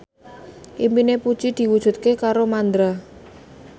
impine Puji diwujudke karo Mandra